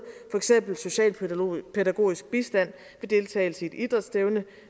for eksempel socialpædagogisk bistand til deltagelse i et idrætsstævne